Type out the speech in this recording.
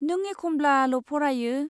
नों एखमब्लाल' फरायो।